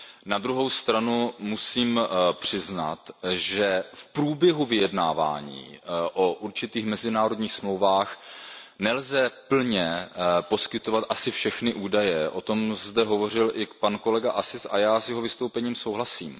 Na druhou stranu musím přiznat, že v průběhu vyjednávání o určitých mezinárodních dohodách nelze plně poskytovat asi všechny údaje, o tom zde hovořil i pan kolega Assis a já s jeho vystoupením souhlasím.